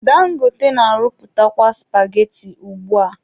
Dangote na-arụpụtakwa supageti ugbua